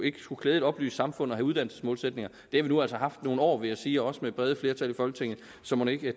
ikke skulle klæde et oplyst samfund at have uddannelsesmålsætninger det vi nu altså haft i nogle år vil jeg sige også med brede flertal i folketing så mon ikke